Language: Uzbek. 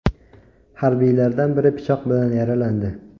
Harbiylardan biri pichoq bilan yaralandi.